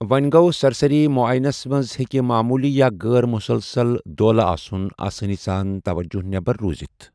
وۄنٛہِ گو، سرسٔری مُعٲینس منٛز ہیٚکہِ معموٗلی یا غٲر مُسلسل دولہٕ آسُن آسٲنی سان توجہ نٮ۪بَر روٗزِتھ ۔